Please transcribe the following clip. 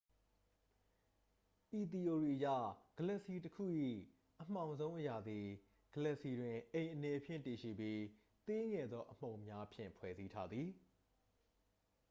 ဤသီအိုရီအရ ဂလက်ဆီတစ်ခု၏ အမှောင်ဆုံးအရာသည် ဂလက်ဆီတွင် အိမ်အနေဖြင့် တည်ရှိပြီး သေးငယ်သော အမှုန်များဖြင့် ဖွဲ့စည်းထားသည်